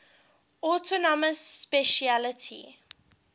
autonomous specialty